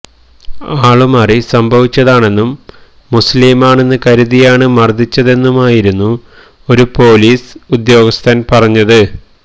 ആളുമാറി സംഭവിച്ചതാണെന്നും മുസ്ലീമാണെന്ന് കരുതിയാണ് മര്ദ്ദിച്ചതെന്നുമായിരുന്നു ഒരു പൊലീസ് ഉദ്യോഗസ്ഥന് പറഞ്ഞത്